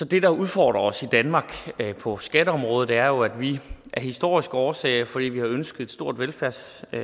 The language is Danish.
det der udfordrer os i danmark på skatteområdet jo at vi af historiske årsager fordi vi har ønsket et stort velfærdssamfund